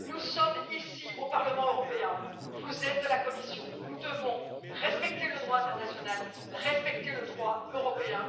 Nous sommes au Parlement européen, vous êtes à la Commission, nous devons tous respecter le droit international et le droit européen